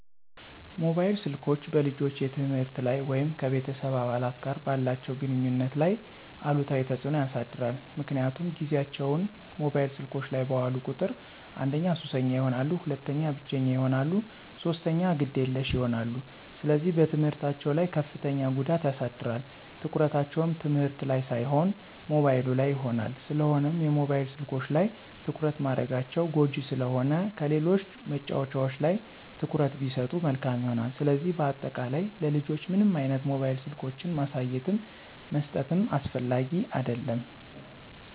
ሞባይል ስልኮች በልጆች የትምህርት ላይ ወይም ከቤተሰብ አባላት ጋር ባላቸው ግንኙነት ላይ አሉታዊ ተጽዕኖ ያሳድራል ምክንያቱም ጊዚያቸውን ሞባይል ስልኮች ላይ ባዋሉ ቁጥር አንደኛ ሱሰኛ ይሆናሉ፣ ሁለተኛ ብቸኛ ይሆናሉ፣ ሶስተኛ ግዴለሽ ይሆናሉ፣ ስለዚህ በትምህርታቸው ላይ ከፍተኛ ጉዳት ያሳድራል፣ ትኩረታቸው ትምህርት ላን ሳይሆን ሞባይሉ ላይ ይሆናል። ስለሆነም የሞባይል ስልኮች ላይ ትኩረት ማድረጋቸው ጎጅ ስለሆነ ከሌሎች መጫዎቻዎች ላይ ትኩረት ቢሰጡ መልካም ይሆናል። ስለዚህ በአጠቃላይ ለልጆች ምንም አይነት ሞባይል ስልኮችን ማሳየትም መስጠትም አስፈላጊ አደለም።